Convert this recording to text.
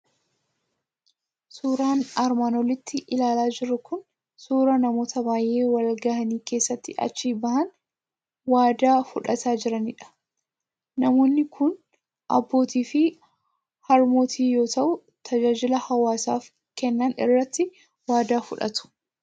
Suuraan armaan olitti ilaalaa jirru kun suuraa namoota baay'ee wal ga'ii keessatti achi ba'anii waadaa fudhataa jiranidha. Namoonni kun abbootii fi harmootii yoo ta'u, tajaajila hawaasaaf kennan irratti waadaa fudhatu.